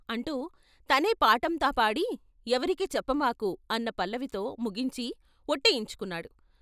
' అంటూ తనే పాటంతాపాడి ఎవరికీ చెప్పమాకు అన్న పల్లివీతో ముగించి " వొట్టేయించు కున్నాడు.